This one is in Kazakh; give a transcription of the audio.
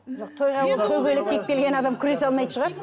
адам күресе алмайтын шығар